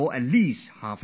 We should chat with them